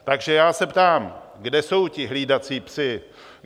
Takže já se ptám, kde jsou ti hlídací psi?